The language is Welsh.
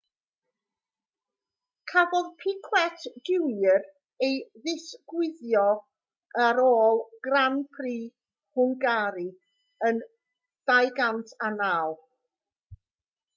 cafodd piquet jr ei ddiswyddo ar ôl grand prix hwngari yn 2009